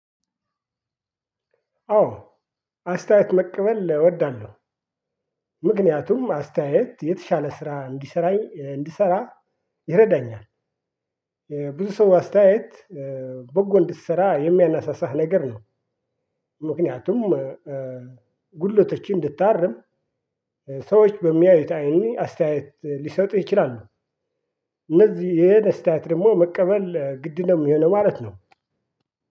አዎ አስተያየት መቀበል እወዳለሁ ምክንያቱም አስተያየት የተሻለ ስራ እንዲሰራኝ እንድሰራ ይረዳኛል። ብዙ ሰው አስተያየት በጎ እንድሰራ የሚያነሳሳህ ነገር ነው። ምክንያቱም ጉድለቶችን እንድታርም ሰዎች በሚያዩት አይን አስተያየት ሊሰጡህ ይችላሉ። እነዚህ የደስታት ደግሞ መቀበል ግድ ነው የሚሆነው ማለት ነው።